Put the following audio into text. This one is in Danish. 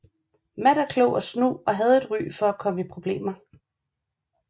Matt er klog og snu og havde et ry for at komme i problemer